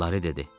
Lari dedi.